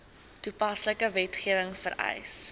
toepaslike wetgewing vereis